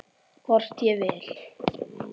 Hvort ég vil!